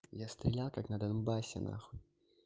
я стрилял как на донбассе нахуй